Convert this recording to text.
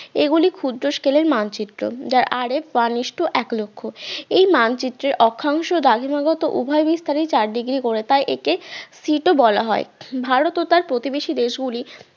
এগুলি ক্ষুদ্র scale এর মানচিত্র যার RFone is to এক লক্ষ এই মানচিত্রের অক্ষাংশ দ্রাঘিমা গত উভয় বিস্তারিই চার degree করে তাই একে sit ও বলা হয়। ভারত ও তার প্রতিবেশী দেশ গুলি